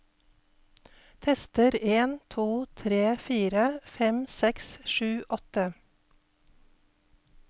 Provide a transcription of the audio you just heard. Tester en to tre fire fem seks sju åtte